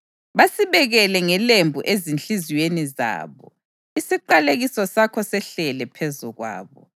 Basibekele ngelembu ezinhliziyweni zabo, isiqalekiso sakho sehlele phezu kwabo!